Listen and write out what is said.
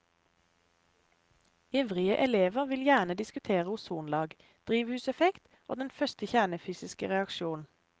Ivrige elever vil gjerne diskutere ozonlag, drivhuseffekt og den første kjernefysiske reaksjon.